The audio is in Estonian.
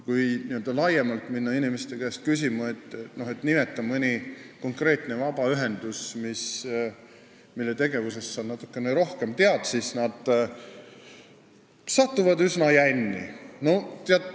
Kui minna laiemalt inimeste käest uurima, et nimeta mõni konkreetne vabaühendus, mille tegevusest sa natukene rohkem tead, siis nad jäävad üsna jänni.